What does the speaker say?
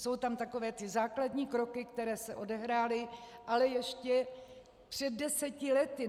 Jsou tam takové ty základní kroky, které se odehrály, ale ještě před deseti lety.